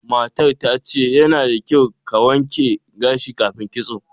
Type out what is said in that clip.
Matar ta ce, yana da kyau ka wanke gashi kafin kitso.